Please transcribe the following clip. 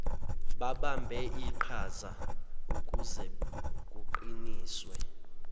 babambe iqhazaukuze kuqiniswe